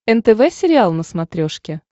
нтв сериал на смотрешке